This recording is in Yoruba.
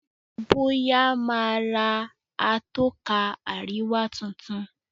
Boya má rà Atọ́ka àríwá títún